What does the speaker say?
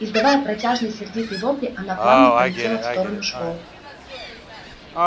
издавая протяжные сердитые вопли она плавно полетела в сторону школы